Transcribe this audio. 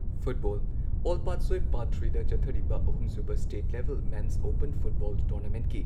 football all Patsoi part ꯊ꯭ꯔꯤꯗ ꯆꯠꯊꯔꯤꯕ ꯑꯍꯨꯝꯁꯨꯕ state level men's open football ꯇꯣꯔꯅꯥꯃꯦꯟꯠꯀꯤ